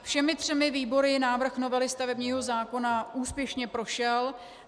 Všemi třemi výbory návrh novely stavebního zákona úspěšně prošel.